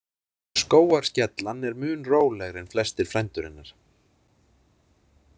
Skógarskellan er mun rólegri en flestir frændur hennar.